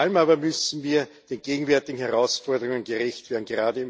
Vor allem aber müssen wir den gegenwärtigen Herausforderungen gerecht werden.